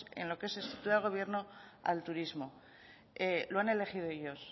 en lo que es estructura de gobierno al turismo lo han elegido ellos